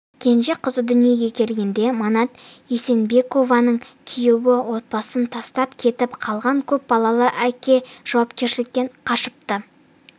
кенже қызы дүниеге келгенде манат есенбекованың күйеуі отбасын тастап кетіп қалған көп балалы әке жауапкершіліктен қашыпты